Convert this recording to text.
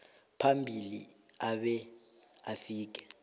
phambili abe afike